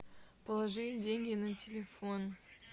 положи деньги на телефон